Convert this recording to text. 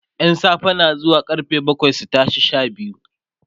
ƴan safe na zuwa karfe bakwai su tashi Sha biyu